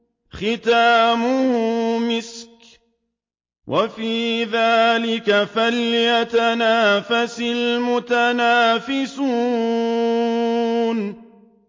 خِتَامُهُ مِسْكٌ ۚ وَفِي ذَٰلِكَ فَلْيَتَنَافَسِ الْمُتَنَافِسُونَ